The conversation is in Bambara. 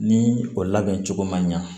Ni o labɛn cogo man ɲa